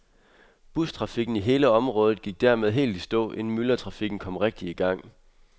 Bustrafikken i hele området gik dermed helt i stå, inden myldretrafikken kom rigtig i gang.